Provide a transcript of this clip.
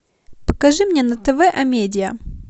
покажи мне на тв амедиа